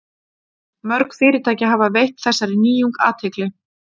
Mörg fyrirtæki hafa veitt þessari nýjung athygli.